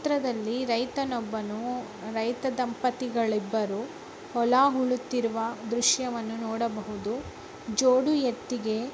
ತ್ರದಲ್ಲಿ ರೈತನೊಬ್ಬನು ರೈತ ದಂಪತಿಗಳಿಬ್ಬರು ಹೊಲ ಹೂಳುತ್ತಿರುವ ದೃಶ್ಯವನ್ನು ನೋಡಬಹುದು. ಜೋಡಿ ಎತ್ತಿಗೆ--